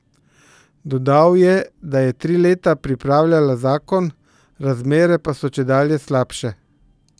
Dodal je, da je tri leta pripravljala zakon, razmere pa so čedalje slabše.